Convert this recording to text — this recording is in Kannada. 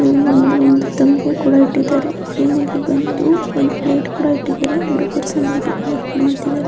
ಇಲ್ಲಿ ಬಂದು ಒಂದು ತಂಬ್ಗೆ ಕೂಡ ಇಟ್ಟಿದ್ದಾರೆ ಇಲ್ಲಿ ಬಂದು ಒಂದು ಪ್ಲೆಟ ಕುಡ ಇಟ್ಟಿದ್ದಾರೆ .